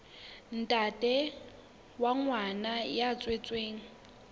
ntate wa ngwana ya tswetsweng